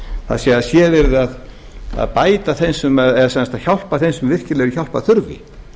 það er að séð yrði að bæta þeim eða hjálpa sem eru virkilega hjálparþurfi